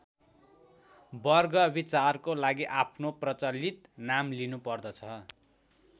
वर्ग विचारको लागि आफ्नो प्रचलित नाम लिनुपर्दछ।